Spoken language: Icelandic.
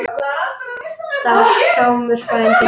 Það var Sámur frændi.